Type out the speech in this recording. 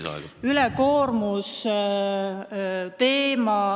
Kolm minutit lisaaega.